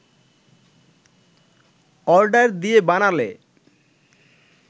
order দিয়ে বানালে